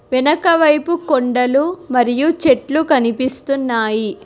వెనకవైపు కొండలు మరియు చెట్లు కనిపిస్తున్నాయి.